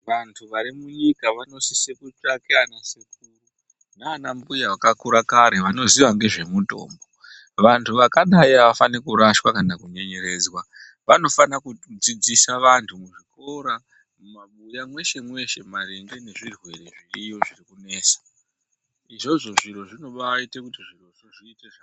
Vantu vari munyika vanosisa kutsvake anasekuru nanambuya vakakura kare vanoziya ngezvemitombo vantu vakadai avafani kurashwa kana kunyenyeredzwa vanofanira kudzidzisa vantu muzvikora, mumabuya mweshe mweshe maringe ngezvirwere zviriyo zvirikunesa izvozvo zviro zvinobaite kuti zvirozvo zviite